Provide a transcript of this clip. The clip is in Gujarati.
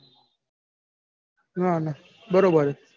ના ના બરોબર હે.